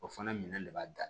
O fana minɛ de b'a da